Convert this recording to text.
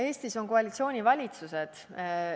Eestis on koalitsioonivalitsused.